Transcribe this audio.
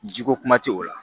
Ji ko kuma tɛ o la